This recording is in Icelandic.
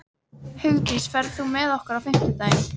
Hugdís, ferð þú með okkur á fimmtudaginn?